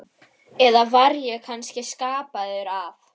Eða var ég kannski skapaður af